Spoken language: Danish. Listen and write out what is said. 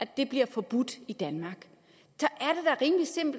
det bliver forbudt i danmark